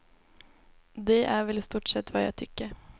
Det är väl i stort sett vad jag tycker.